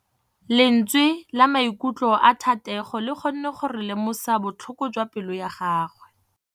Lentswe la maikutlo a Thategô le kgonne gore re lemosa botlhoko jwa pelô ya gagwe.